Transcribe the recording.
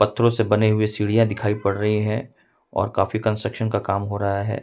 पत्थरों से बनीं हुई सीढ़ियां दिखाई पड़ रही हैं और काफी कंस्ट्रक्शन का काम हो रहा है।